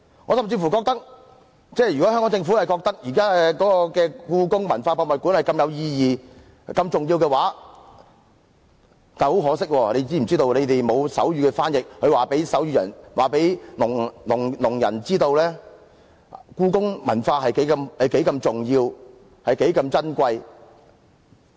我甚至認為，香港政府認為現時的故宮文化博物館如此有意義及重要，但可惜當局並無手語翻譯，無法告訴聾人故宮文化有多重要、有多珍貴。